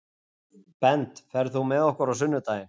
Bent, ferð þú með okkur á sunnudaginn?